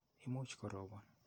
Imuch ko ropon.